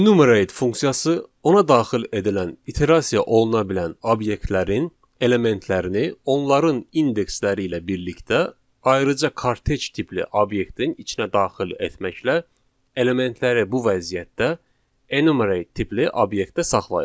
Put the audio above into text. Enumerate funksiyası ona daxil edilən iterasiya oluna bilən obyektlərin elementlərini, onların indeksləri ilə birlikdə ayrıca kortec tipli obyektin içinə daxil etməklə, elementləri bu vəziyyətdə enumerate tipli obyektdə saxlayır.